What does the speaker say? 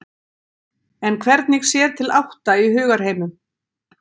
En hvernig sér til átta í hugarheimum?